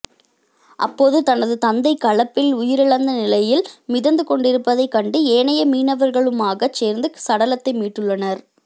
அப்போது தனது தந்தை களப்பில் உயிரிழந்த நிலையில் மிதந்து கொண்டிருப்பதைக் கண்டு ஏனைய மீனவர்களுமாகச் சேர்ந்து சடலத்தை மீட்டுள்ளனர்